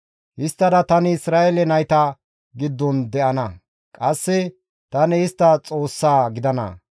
Histtada tani Isra7eele nayta giddon de7ana; qasse tani istta Xoossaa gidana.